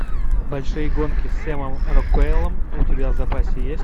большие гонки с сэмом рокуэллом у тебя в запасе есть